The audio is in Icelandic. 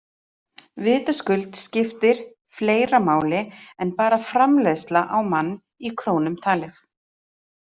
Vitaskuld skiptir fleira máli en bara framleiðsla á mann í krónum talið.